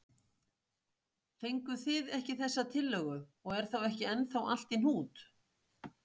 Fenguð þið ekki þessa tillögu og er þá ekki ennþá allt í hnút?